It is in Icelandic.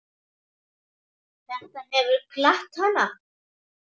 Þetta hefur glatt hana.